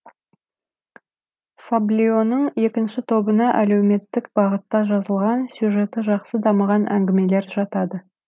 фаблионың екінші тобына әлеуметтік бағытта жазылған сюжеті жақсы дамыған әңгімелер жатады